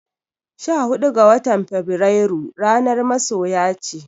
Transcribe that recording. Sha hudu ga watan Fabrairu ranar masoya ce.